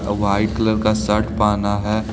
White colour का shirt पहना है।